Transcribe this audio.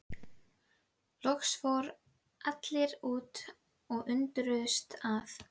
Loks fóru allir út og undruðust að